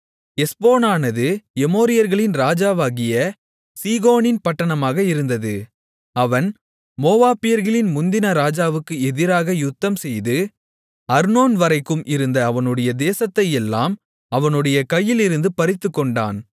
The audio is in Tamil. எஸ்போனானது எமோரியர்களின் ராஜாவாகிய சீகோனின் பட்டணமாக இருந்தது அவன் மோவாபியர்களின் முந்தின ராஜாவுக்கு எதிராக யுத்தம்செய்து அர்னோன் வரைக்கும் இருந்த அவனுடைய தேசத்தையெல்லாம் அவனுடைய கையிலிருந்து பறித்துக்கொண்டான்